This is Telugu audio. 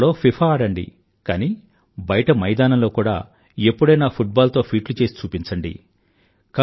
కంప్యూటర్ లో ఫిఫా ఆడండి కానీ బయట మైదానంలో కూడా ఎప్పుడైనా ఫుట్బాల్ తో ఫీట్లు చేసి చూపించండి